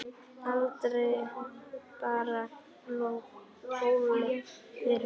Aldrei bar Óli yfir ána.